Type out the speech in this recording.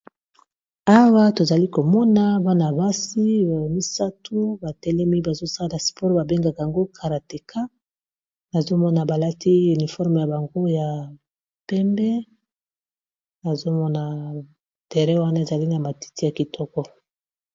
awa tozali komona bana basi misatu batelemi bazosala spore babengaka yango karateka nazomona balati uniforme ya bango ya pembe nazomona terrain wana ezali na matiti ya kitoko